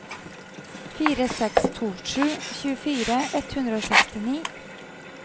fire seks to sju tjuefire ett hundre og sekstini